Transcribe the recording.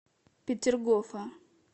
петергофа